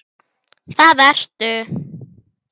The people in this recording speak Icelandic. Hún mælti: